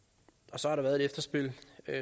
så har der været et efterspil